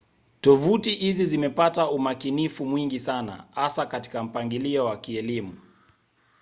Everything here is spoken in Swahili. tovuti hizi zimepata umakinifu mwingi sana hasa katika mpangilio wa kielimu